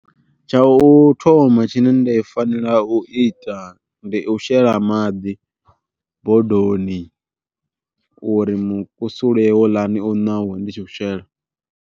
Tsha u thoma tshine nda fanela u ita ndi u shela maḓi bodoni uri mukusule houḽani u ṋauwe musi ndi tshi u shela.